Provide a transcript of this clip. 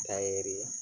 Ta ye